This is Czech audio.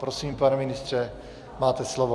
Prosím, pane ministře, máte slovo.